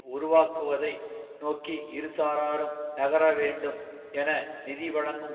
உருவாக்குவதை நோக்கி இரு சாராரும் நகரவேண்டும் என நிதி வழங்கும்